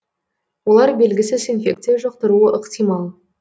олар белгісіз инфекция жұқтыруы ықтимал